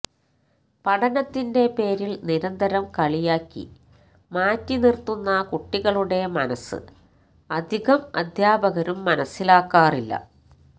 പഠനത്തിന്റെ പേരില് നിന്തരം കളിയാക്കി മാറ്റി നിര്ത്തുന്ന കുട്ടികളുടെ മനസ്സ് അധികം അധ്യാപകരും മനസ്സിലാക്കാറില്ല